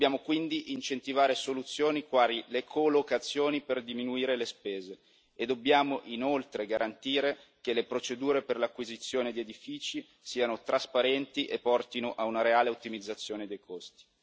Dobbiamo quindi incentivare soluzioni quali le co locazioni per diminuire le spese nonché garantire che le procedure per l'acquisto di edifici siano trasparenti e portino a una reale ottimizzazione dei costi.